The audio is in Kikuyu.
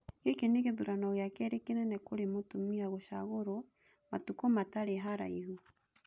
Gĩkĩ nĩ gĩthurano gĩa kerĩ kĩnene kũrĩ mũtumia gũcagũrwo matukũmatarĩ haraihu.